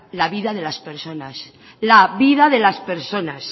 la vida de las personas la vida de las personas